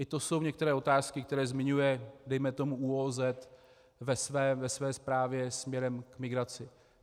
I to jsou některé otázky, které zmiňuje dejme tomu ÚOOZ ve své zprávě směrem k migraci.